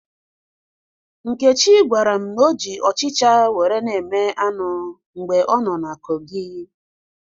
Nkechi gwara m na o ji ọchịcha were na-eme anụ mgbe ọ nọ na Kogi